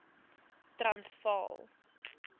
transvaal